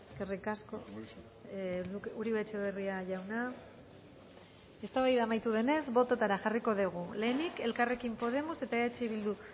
eskerrik asko uribe etxebarria jauna eztabaida amaitu denez bototara jarriko dugu lehenik elkarrekin podemos eta eh bildu